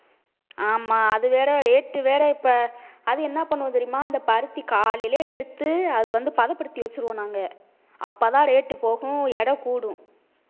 ஆமா அது வேற rate வேற இப்ப அது என்ன பண்ணும் தெரியுமா அந்த பருத்தி காலையிலேயே எடுத்து அது வந்து பதப்படுத்தி வச்சிருவோம் நாங்க அப்பதான் rate போகும் எடை கூடும்